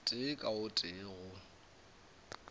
tee ka o tee go